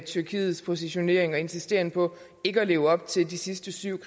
tyrkiets positionering og insisteren på ikke at leve op til de sidste syv